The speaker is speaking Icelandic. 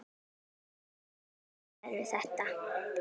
Hverju þakkarðu þetta?